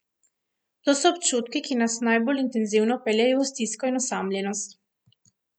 To so občutki, ki nas najbolj intenzivno peljejo v stisko in osamljenost.